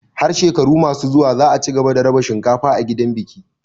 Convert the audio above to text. Har shekaru masu zuwa za a cigaba da raba cinkafa a gidan biki.